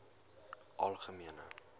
algemene